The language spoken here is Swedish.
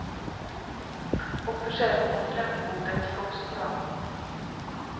Och försäljningen vid kaffebordet gick också bra.